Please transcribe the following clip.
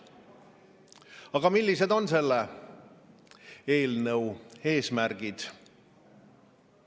Aga millised on selle eelnõu eesmärgid?